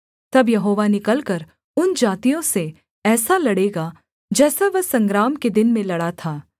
तब यहोवा निकलकर उन जातियों से ऐसा लड़ेगा जैसा वह संग्राम के दिन में लड़ा था